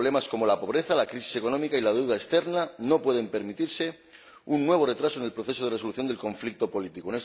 Problemas como la pobreza, la crisis económica y la deuda externa no pueden permitirse un nuevo retraso en el proceso de resolución del conflicto político.